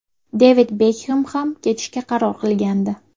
Devid Bekhem ham ketishga qaror qilgandi.